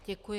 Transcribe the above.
Děkuji.